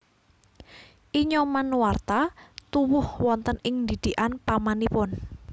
I Nyoman Nuarta tuwuh wonten ing didikan pamanipun